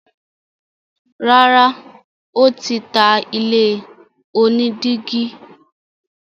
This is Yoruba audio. Rárá, ó tí ta ilé onídígí.